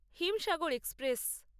Himsagar express